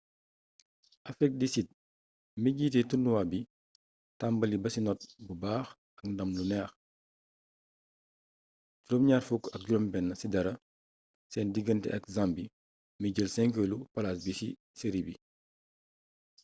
afrik di sid mi jiite turnuwaa bi tambali ba ci not bu baax ak ndam lu neex 26 - 00 seen digante ak zambie mi jël 5eelu palaas bi ci seri bi